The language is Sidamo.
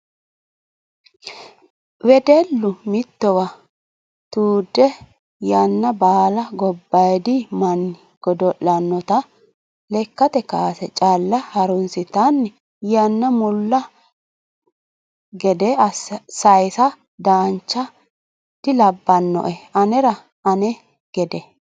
Wedellu mittowa tude yanna baala gobbadi manni godo'lanotta lekkate kaase calla harunsittanni yana mulla gede saysa dancha dilabbanoe anera ane gede.